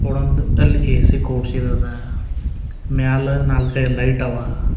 ಕೊಡಂದು ಅಲ್ ಎ_ಸಿ ಕೊಡಿಸಿದ್ ಅದ ಮ್ಯಾಲ ನಾಲ್ಕೈದು ಲೈಟ್ ಅವ.